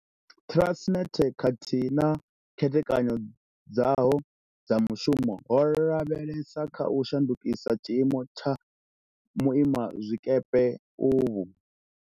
Transnet khathihi na khethekanyo dzaho dza mushumo ho lavhelesa kha u shandukisa tshiimo tsha vhuimazwikepe uvhu.